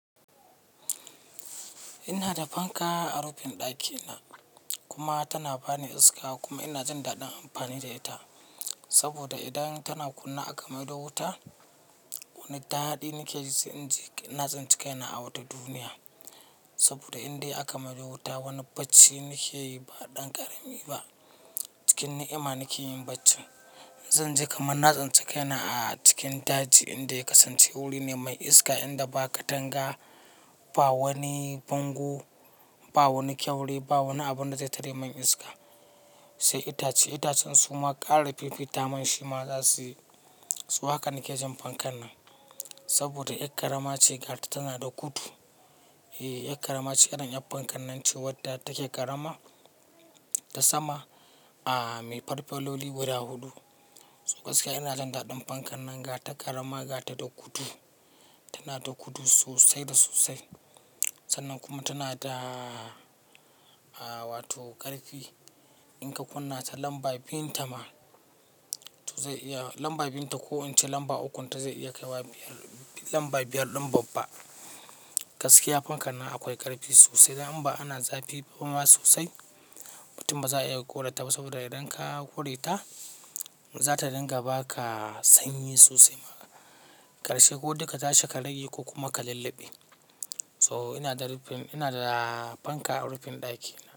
Ina da fanka a rufin ɗakina kuma tana bani iska kuma ina jin daɗin amfani da ita. Saboda idan tana kunne aka maido wuta, wani daɗi nake ji sai inji na tsinci kaina a wata duniya. Saboda indai aka maido wuta, wani bacci nake yi ba ɗan ƙarami ba. Cikin ni'ima nake yin bacci. Zan ji kamar na tsinci yana a cikin daji inda ya kasance wuri ne mai iska inda ba katanga, ba wani bango, ba wani kyaure, ba wani abunda zai tare man iska. Sai itace itacen suma ƙara fifita man shi ma zasu yi. So haka nake jin fankan nan saboda ƴak ƙarama ce ga ta tana da gudu. Eh, 'yak ƙarama ce irin 'yar fankan nan ce wadda take ƙarama ta sama a mai farfeloli guda huɗu. Gaskiya ina jindaɗin fankan nan ga ta ƙarama ga ta da gudu. Tana da kutu sosai da sosai. Sannan kuma tana da, a, wato ƙarfi. In ka kunna ta lamba biyun ta ma, to zai iya, lamba biyun ta ko in ce lamba ukun ta zai iya kai wa lamba biyar ɗin babba. Gaskiya fankan nan akwai ƙarfi sosai. Idan ba ana zafi ba ma sosai mutum ba za'a iya ƙure ta ba saboda idan ka ƙure ta, za ta dinga baka sanyi sosai. Ƙarshe ko dai ka tashi ka rage ko kuma ka lulluɓe. So ina da rufin, ina da fanka a rufin ɗakina.